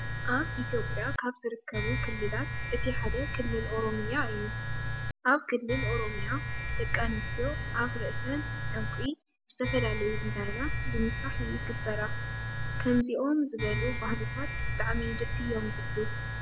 ኣብ ኢትዮጵያ ካብ ዝርከቡ ክልላት እቲ ሓደ ክልል ኦሮሚያ እዩ። ኣብ ክልል ኦሮሚያ ደቂ ኣንስትዮ ኣብ ርእሰን ዕንቂ ብዝተፈላለዩ ድዛይናት ብምስራሕ ይግብራ። ከምዞኦም ዝበሉ ባህልታት ብጣዕሚ ደስ እዮም ዝብሉ።